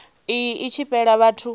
iyi i tshi fhela vhathu